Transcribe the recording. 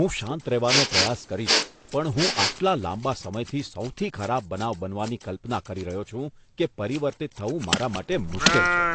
હું શાંત રહેવાનો પ્રયાસ કરીશ, પણ હું આટલા લાંબા સમયથી સૌથી ખરાબ બનાવ બનવાની કલ્પના કરી રહ્યો છું કે પરિવર્તિત થવું મારા માટે મુશ્કેલ છે.